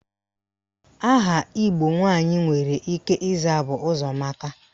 Aha Igbo nwaanyị nwere ike ịza bụ Ụzọamaka.